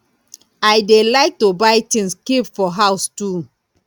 i dey like to buy things keep for house too